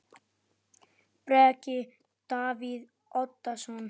Breki: Davíð Oddsson?